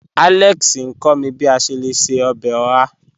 Alex n kọ̀ mí bí à ṣè lẹ̀ ṣẹ̀ ọbẹ́ ọ̀hà.